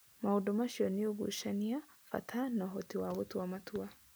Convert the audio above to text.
Maũndũ macio nĩ ũgucania, bata, na ũhoti wa gũtua matua.